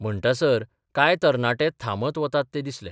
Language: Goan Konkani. म्हणटासर कांय तरणाटे थांबत वतात ते दिसले.